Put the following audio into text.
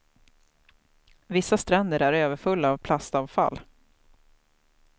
Vissa stränder är överfulla av plastavfall.